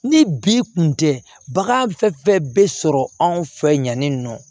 Ni bi kun tɛ bagan fɛn fɛn be sɔrɔ anw fɛ yanni nɔ